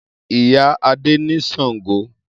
Iya Ade ni shango